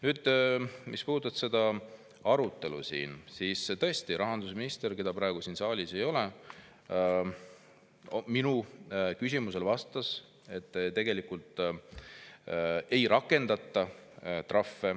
Nüüd, mis puudutab seda arutelu siin, siis rahandusminister, keda praegu siin saalis ei ole, vastas minu küsimusele, et tegelikult trahve ei rakendata.